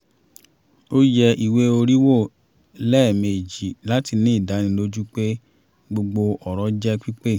ó yẹ ìwé orí wò lẹ́ẹ̀mejì láti ní ìdánilojú pé gbogbo ọ̀rọ̀ jẹ́ pípé